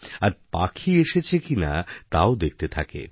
আর পাখি এসেছে কিনা তাও দেখতে থাকে